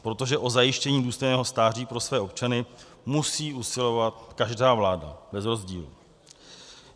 Protože o zajištění důstojného stáří pro své občany musí usilovat každá vláda bez rozdílu.